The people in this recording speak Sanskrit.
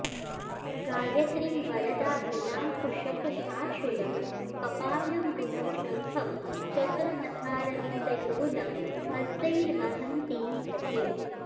गायत्रीं वरदाभयाङ्कुशकशाशूलं कपालं गुणं शङ्खं चक्रमथारविन्दयुगुलं हस्तैर्वहन्तीं भजे